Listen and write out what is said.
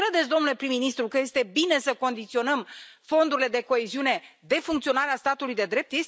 Credeți domnule prim ministru că este bine să condiționăm fondurile de coeziune de funcționarea statului de drept?